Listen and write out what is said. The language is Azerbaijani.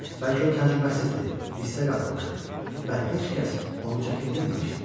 Bəlkə o təcrübəsiz idi, hissə qapılmışdı və heç kəs onu çəkindirməmişdi.